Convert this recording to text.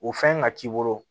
O fɛn ka k'i bolo